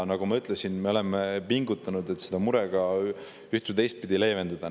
Nagu ma ütlesin, me oleme pingutanud, et seda muret üht‑ või teistpidi leevendada.